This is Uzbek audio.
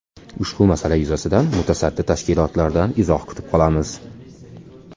Ushbu masala yuzasidan mutasaddi tashkilotlardan izoh kutib qolamiz.